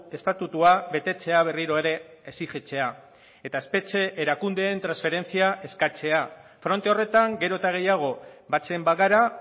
estatutua betetzea berriro ere exijitzea eta espetxe erakundeen transferentzia eskatzea fronte horretan gero eta gehiago batzen bagara